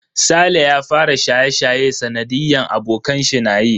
Saleh ya fara shaye-shaye sanadiyan abokanshi nayi.